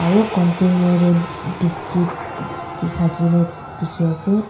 aru continer te biscuit thake na dikhi ase.